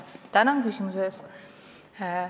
Tänan küsimuse eest!